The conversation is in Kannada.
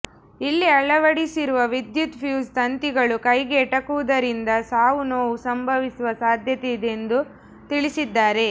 ಇಲ್ಲಿ ಅಳವಡಿಸಿರುವ ವಿದ್ಯುತ್ ಫ್ಯೂಸ್ ತಂತಿಗಳು ಕೈಗೆ ಎಟುಕುವುದರಿಂದ ಸಾವು ನೋವು ಸಂಭವಿಸುವ ಸಾಧ್ಯತೆ ಇದೆ ಎಂದು ತಿಳಿಸಿದ್ದಾರೆ